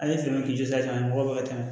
A ye fɛɛrɛ k'i la ka mɔgɔ ka kɛnɛ